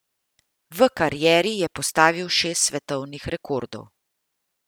V karieri je postavil šest svetovnih rekordov.